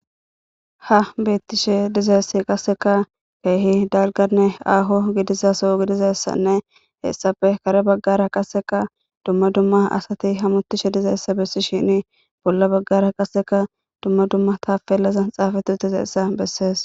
Ha betishe dizays qaseka keeh dalganne aaho gidiza soho gidizaysanne hesappe kare bagara qaseka dumma dumma asat hamutishe dizaysa besishn bolla bagara qaseka dumma dumma tapelazan xafet utidaysa beses.